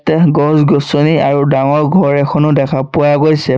ইয়াত গছ-গছনি আৰু ডাঙৰ ঘৰ এখনো দেখা পোৱা গৈছে।